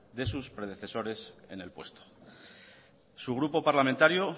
de sus predecesores en el puesto su grupo parlamentario